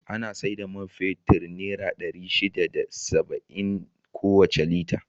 Ana sai da man fetur naira ɗari shida da saba'in kowace Lita.